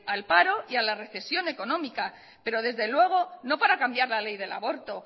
al paro y a la recesión económica pero desde luego no para cambiar la ley del aborto